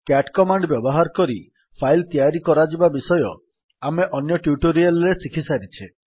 cat command ବ୍ୟବହାର କରି file ତିଆରି କରାଯିବା ବିଷୟ ଆମେ ଅନ୍ୟ ଟ୍ୟୁଟୋରିଆଲ୍ ରେ ଶିଖିସାରିଛେ